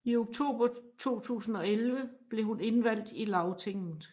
I oktober 2011 blev hun indvalgt i Lagtinget